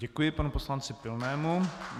Děkuji panu poslanci Pilnému.